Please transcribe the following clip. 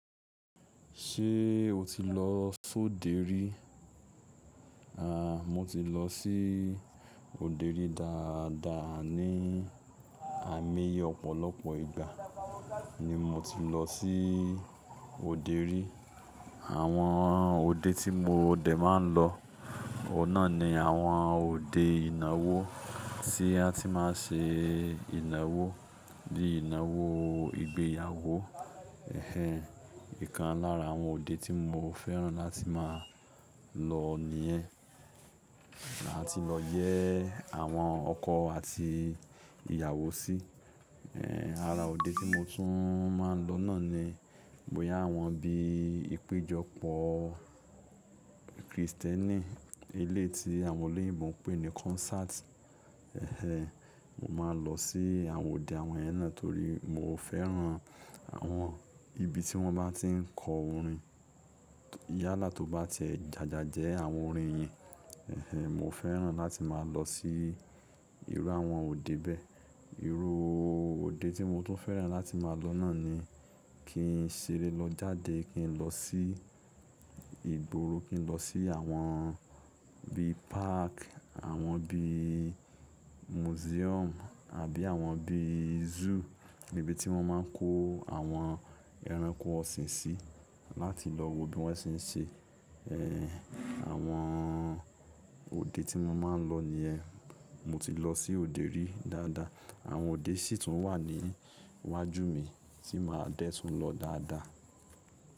Ṣé o ti lọ sóde rí? Àń, mo ti lọ sí òde rí dáadáa ni àmì ọ̀pọ̀lọpọ̀ ìgbà ni mo ti ń lọ sí òde rí. Àwọn òde tí mo dẹ̀ máa ń lọ, oun nà ni àwọn òde ìnáwó tí a ti máa ń ṣe ìnáwó bíi ìnáwó ìgbéyàwó. Ẹ̀hẹn, ìkan lára àwọn òde tí mo fẹ́ràn láti máa lọ nìyẹn. Láti lọ yẹ àwọn ọkọ àti ìyàwó sí. Ẹ̀hẹn, ara òde tí mo tún máa ń lọ náà ni boyà awọn bíi ìpéjọpọ̀ Krìstẹ́nì elé ti àwọn oloyinbo ń pè ní concert. Ẹ̀hẹn, mo máa lọ sí àwọn òde àwọn yẹn náà torí mo fẹ́ràn àwọn ibi tí wọ́n bá tí ń kọ orin. Yáàlà tó bá ti ẹ jàjà jẹ àwọn orin yẹn. Ẹ̀hẹn, mo fẹ́ràn láti máa lọ sí irú àwọn òde bẹ́ẹ̀. Irú òde tí mo tún fẹ́ràn láti máa lọ náà ni kí n ṣeré lọ jáde, kí n lọ sí ìgboro, kí n lọ sí àwọn bíi park, àwọn bíi museum àbí àwọn bíi zoo ibi tí wọ́n máa ń kó àwọn ẹranko ọ̀sìn sí láti lọ wo bí wọ́n ṣe ń ṣe. Ẹ̀hẹn, àwọn òde tí mo máa ń lọ nìyẹn. Mo ti lọ sí òde rí dáadáa. Àwọn òde sì tún wà ní iwájú mi tí màá dẹ́ tùn lọ dáadáa.